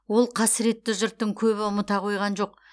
ол қасіретті жұрттың көбі ұмыта қойған жоқ